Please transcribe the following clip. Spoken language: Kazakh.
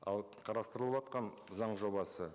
ал қарастырылыватқан заң жобасы